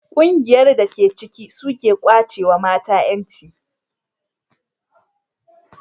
ƙungiyar da ta ke ciki suka kwace mata yanci